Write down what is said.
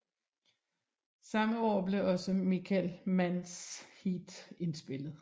Samme år blev også Michael Manns Heat indspillet